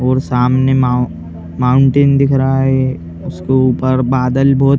और सामने माओ माउंटेन दिख रहा है उसको ऊपर बादल बहोत --